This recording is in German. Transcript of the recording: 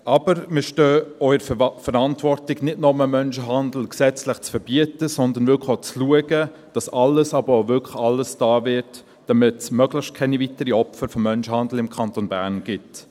Aber wir stehen auch in der Verantwortung, Menschenhandel nicht nur gesetzlich zu verbieten, sondern wirklich auch zu schauen, dass alles, aber wirklich alles getan wird, damit es möglichst keine weiteren Opfer von Menschenhandel im Kanton Bern gibt.